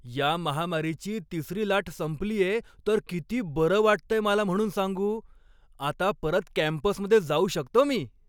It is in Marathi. या महामारीची तिसरी लाट संपलीये तर किती बरं वाटतंय मला म्हणून सांगू. आता परत कॅम्पसमध्ये जाऊ शकतो मी.